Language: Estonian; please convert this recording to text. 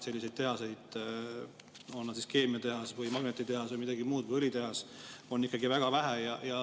Selliseid tehaseid, olgu keemiatehas, magnetitehas, õlitehas või midagi muud, on ikkagi väga vähe.